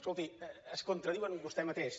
escolti es contradiu vostè mateix